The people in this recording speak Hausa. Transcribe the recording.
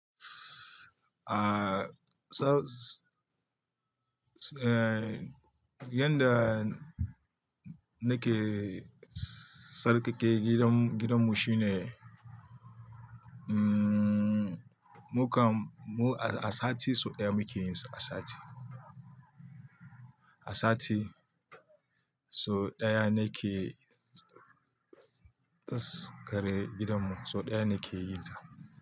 Ah, sau s-- eh, yanda nake tsarkake gidan, gidanmu shine, mm, mu kam mu a sati sau ɗaya muke yin su asati. Asati sau ɗaya nake tsarkake gidanmu, sau ɗaya ne ke yi ta.